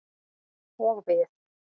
Og við.